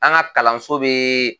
An ka kalanso bɛ